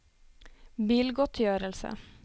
bilgodtgjørelse